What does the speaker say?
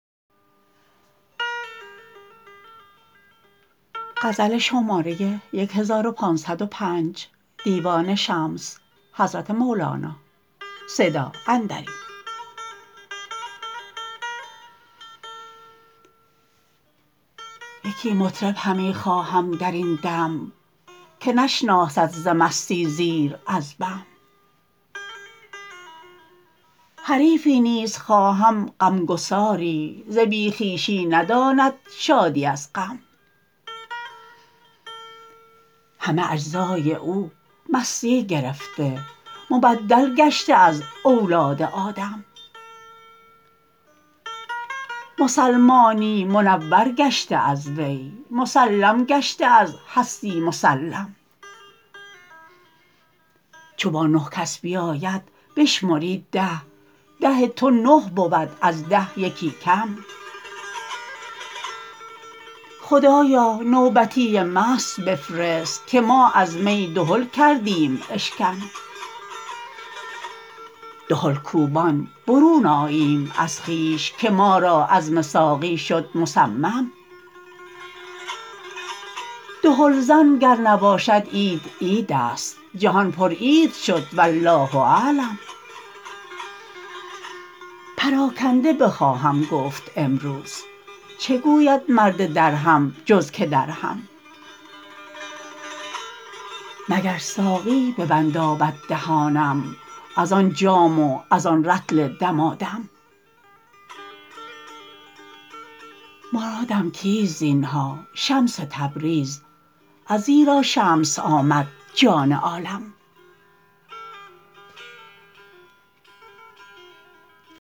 یکی مطرب همی خواهم در این دم که نشناسد ز مستی زیر از بم حریفی نیز خواهم غمگسار ی ز بی خویشی نداند شادی از غم همه اجزای او مستی گرفته مبدل گشته از اولاد آدم مسلمانی منور گشته از وی مسلم گشته از هستی مسلم چو با نه کس بیاید بشمری ده ده تو نه بود از ده یکی کم خدایا نوبتی مست بفرست که ما از می دهل کردیم اشکم دهل کوبان برون آییم از خویش که ما را عزم ساقی شد مصمم دهل زن گر نباشد عید عید است جهان پر عید شد والله اعلم پراکنده بخواهم گفت امروز چه گوید مرد درهم جز که درهم مگر ساقی بینداید دهانم از آن جام و از آن رطل دمادم مرادم کیست زین ها شمس تبریز ازیرا شمس آمد جان عالم